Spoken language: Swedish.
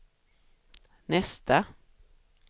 nästa